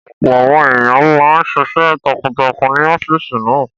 Ọ̀pọ̀ àwọn èèyàn máa n ṣiṣẹ́ takuntakun ní ọ́fìsì náà